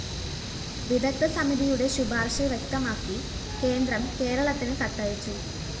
വിദഗ്ദ്ധ സമിതിയുടെ ശുപാര്‍ശ വ്യക്തമാക്കി കേന്ദ്രം കേരളത്തിന് കത്തയച്ചു